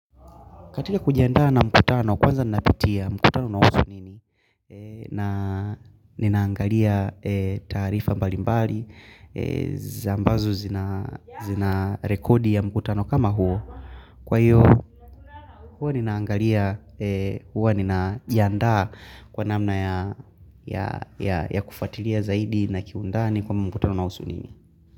Katika kujiandaa na mkutano, kwanza napitia mkutano unahusu nini, na ninaangalia taarifa mbalimbali, za ambazo zina rekodi ya mkutano kama huo, kwa hiyo huwa ninaangalia huwa ninajandaa kwa namna ya ya kufuatilia zaidi na kiundani kwa mkutano unahusu nini.